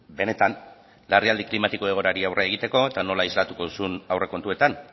benetan larrialdi klimatiko egoerari aurre egiteko eta nola islatuko duzun aurrekontuetan